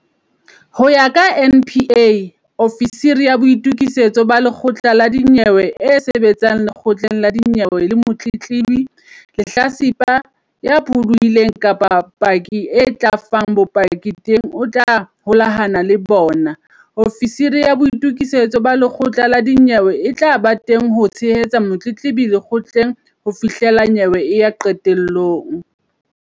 Ho ya ka NPA, ofisiri ya boitu-kisetso ba lekgotla la dinyewe e sebetsang lekgotleng la dinyewe le motletlebi, lehlatsipa, ya pholohileng kapa paki a tla fang bopaki teng o tla holahana le bona. Ofisiri ya boitokisetso ba lekgotla la dinyewe e tla ba teng ho tshehetsa motletlebi lekgotleng ho fihla nyewe e ya qetelong.